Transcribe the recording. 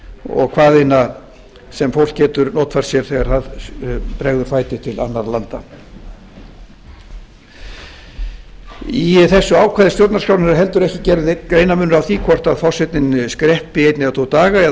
og hvað eina sem fólk getur notfært sér þegar það bregður fæti til annarra landa í þessu ákvæði stjórnarskrárinnar heldur ekki gerður greinarmunur á því hvort forsetinn skreppi einn eða tvo daga eða